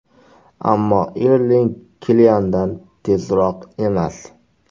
Ammo Erling Kiliandan tezroq emas.